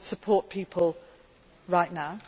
Well, we support people right now.